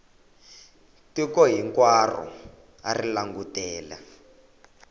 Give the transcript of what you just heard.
tiko hinkwaro a ri langutele